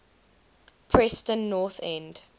preston north end